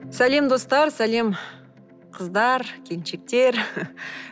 сәлем достар сәлем қыздар келіншектер